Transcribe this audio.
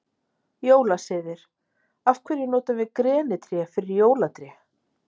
Jólasiðir Af hverju notum við grenitré fyrir jólatré?